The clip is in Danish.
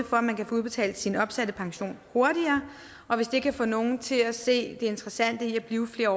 at man kan få udbetalt sin opsatte pension hurtigere og hvis det kan få nogen til at se det interessante i at blive flere